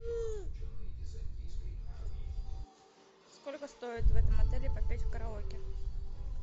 сколько стоит в этом отеле попеть в караоке